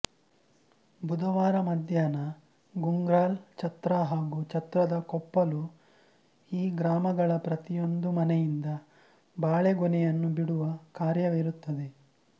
ಬುಧವಾರ ಮಧ್ಯಾಹ್ನ ಗುಂಗ್ರಾಲ್ ಛತ್ರ ಹಾಗೂ ಛತ್ರದ ಕೊಪ್ಪಲು ಈ ಗ್ರಾಮಗಳ ಪ್ರತಿಯೊಂದು ಮನೆಯಿಂದ ಬಾಳೆಗೊನೆಯನ್ನು ಬಿಡುವ ಕಾರ್ಯವಿರುತ್ತದೆ